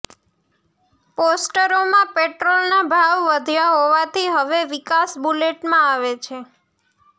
પોસ્ટરોમાં પેટ્રોલના ભાવ વધ્યા હોવાથી હવે વિકાસ બુલેટમાં આવે છે